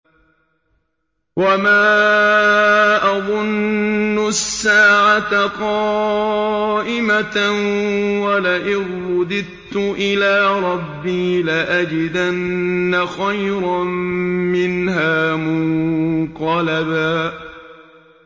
وَمَا أَظُنُّ السَّاعَةَ قَائِمَةً وَلَئِن رُّدِدتُّ إِلَىٰ رَبِّي لَأَجِدَنَّ خَيْرًا مِّنْهَا مُنقَلَبًا